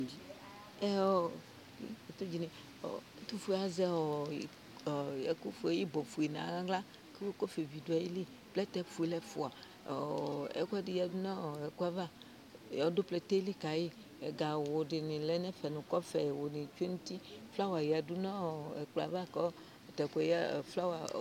Ɛtʋƒue azɛ ɩbɔƒue nʋ aɣlaƘɔƒɛvi ɖʋaƴiliPlɛtɛ ƒuele ɛƒʋaƐƙʋɛɖɩ ƴǝɖu nɔ ɛƙʋ ƴɛava, ɔɖʋ plɛtɛ ƴɛli ƙaɩƐgawʋ ɖɩnɩ lɛ n'ɛƒɛ nʋ ƙɔƒɛwʋ nɩ tsue nʋ utiƑlawa ƴǝɖu n'ɛƙplɔɛ ava